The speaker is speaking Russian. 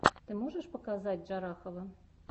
ты можешь показать джарахова